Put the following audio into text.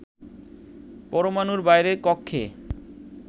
পরমাণুর বাইরের কক্ষে